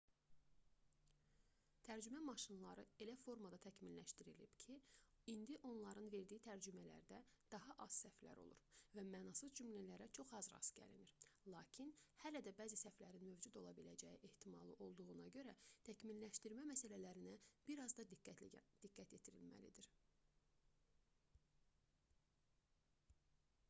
tərcümə maşınları elə formada təkmilləşdirilib ki indi onların verdiyi tərcümələrdə daha az səhvlər olur və mənasız cümlələrə çox az rast gəlinir lakin hələ də bəzi səhvlərin mövcud ola biləcəyi ehtimalı olduğuna görə təkmilləşdirmə məsələlərinə biraz da diqqət yetirilməlidir